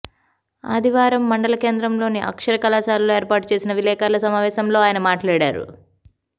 ఆదివారం మండలకేంద్రంలోని అక్షర కళాశాలలో ఏర్పాటుచేసిన విలేకర్ల సమావేశంలో ఆయన మాట్లాడారు